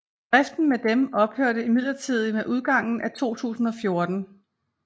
Driften med dem ophørte imidlertid med udgangen af 2014